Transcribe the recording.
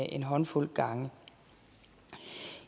en håndfuld gange